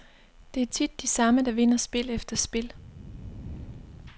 Det er tit de samme, der vinder spil efter spil.